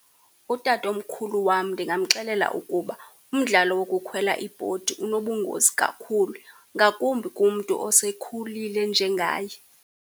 Utatomkhulu wam ndingamxelela ukuba umdlalo wokukhwela ibhodi unobungozi kakhulu, ngakumbi kumntu osekhulile njengaye.